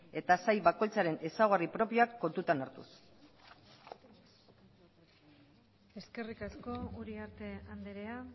eta sail bakoitzaren ezaugarri propioak kontutan hartuz eskerrik asko uriarte andrea